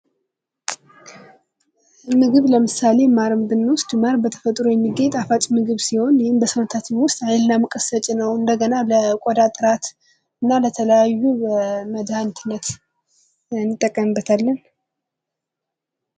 ምግብ ለምሳሌ ማርን ብንወስድ ማር በተፈጥሮ የሚገኝ ጣፋጭ ምግብ ሲሆን ይህም ለሰውነታችን ውስጥ ኃይልና ሙቀት ሰጪ ነው ። እንደገና ለቆዳ ጥራት እና ለተለያዩ መድሀኒትነት እንጠቀምበታለን ።